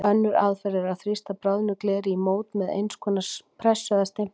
Önnur aðferð er að þrýsta bráðnu gleri í mót með eins konar pressu eða stimpli.